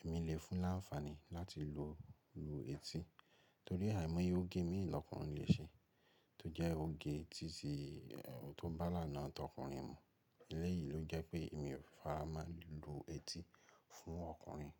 èmi lè fún láǹfààní láti lu etí torí àìmọye òge mií lọ́kùnrin lè ṣe tó jẹ́ òge tí ó bá ilànà tọkùnrin mu. Eléyìí ló jẹ́ pé èmi ò fara máa lilu etí fún ọkùnrin.